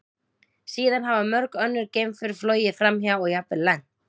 Síðan hafa mörg önnur geimför flogið framhjá og jafnvel lent.